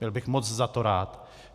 Byl bych moc za to rád.